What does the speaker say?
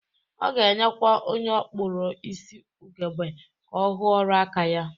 Ọ ga-enyekwa onye ọ kpụrọ isi ugegbe ka ọ hụ ọrụ aka ya